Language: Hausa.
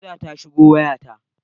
Kira ta shigo waya ta.